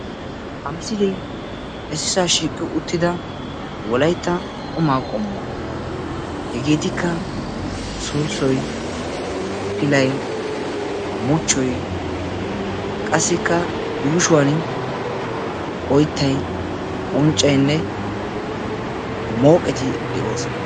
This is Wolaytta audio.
Ha misilee issisaa shiiqi uttida wolaytta qumaa qommuwaa. Hegeetikka sulssoy, pilay, muchchoy qassikka yuushuwan oyttay, unccaynne mooqeti de'oosona.